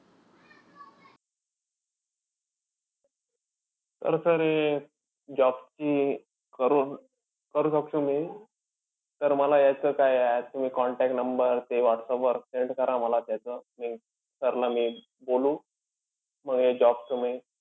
तर sir हे job ची करून करू शकतो मी हे, तर मला याचं काय contact number ते whatsapp वर send करा मला त्याचं. Sir ला मी बोलू मग हे job चं हे